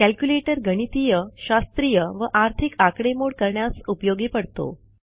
calculator गणितीय शास्त्रीय व आर्थिक आकडेमोड करण्यास उपयोगी पडतो